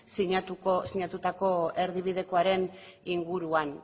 sinatutako erdibidekoaren inguruan